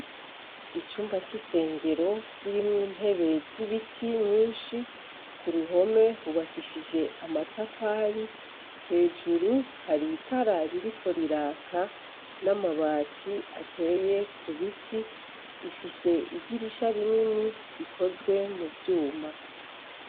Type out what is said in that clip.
Icumba c'isengero kirimwo intebe zibiti nyinshi ku ruhome hubakishije amatafari hejuru hari itara ririko riraka n'amabati ateye kubiti, ifise idirisha rinini rikozwe mu vyuma.